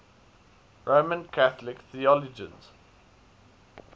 roman catholic theologians